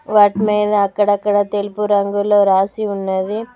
వాటి మీద అక్కడక్కడ తెలుపు రంగులో రాసి ఉన్నది.